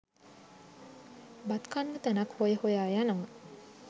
බත් කන්න තැනක් හොය හොයා යනවා.